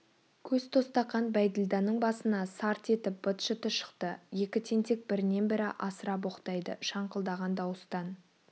көз тостаған бәйділданың басына сарт етіп быт-шыты шықты екі тентек бірінен бірі асыра боқтайды шаңқылдаған дауыстан